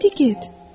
İndi get.